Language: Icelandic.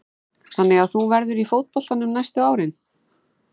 Þannig að þú verður í fótboltanum næstu árin?